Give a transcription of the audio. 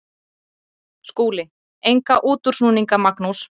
SKÚLI: Enga útúrsnúninga, Magnús.